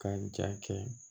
Ka ja kɛ